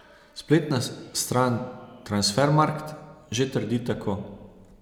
Spletna stran Transfermarkt že trdi tako.